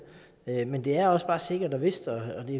men det er også bare sikkert og vist og